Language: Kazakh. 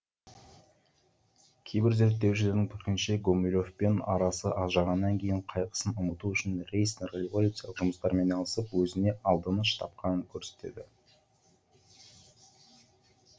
кейбір зерттеушілердің пікірінше гумилевпен арасы ажырағаннан кейін қайғысын ұмыту үшін рейснер революциялық жұмыстармен айналысып өзіне алданыш тапқанын көрсетеді